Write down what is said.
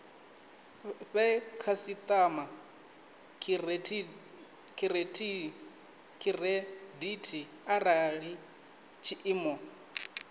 fhe khasitama khiredithi arali tshiimo